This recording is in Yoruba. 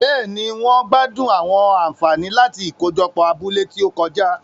Béèni, wón gbádùn àwọn ànfàní láti ikojopo abúlé ti o kọjá